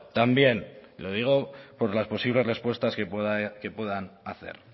también lo digo por las posibles respuestas que puedan hacer